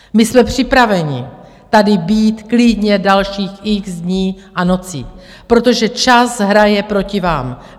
My jsme připraveni tady být klidně dalších x dní a nocí, protože čas hraje proti vám.